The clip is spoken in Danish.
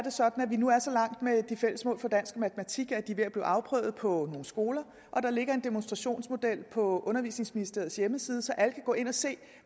er sådan at vi nu er så langt med de fælles mål for dansk og matematik at de er ved at blive afprøvet på nogle skoler og der ligger en demonstrationsmodel på undervisningsministeriets hjemmeside så alle kan gå ind og se